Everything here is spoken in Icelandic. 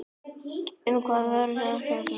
Um hvað var ekki samið?